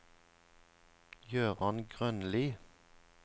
Jøran Grønli